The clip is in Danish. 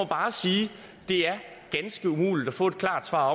bare sige at det er ganske umuligt at få et klart svar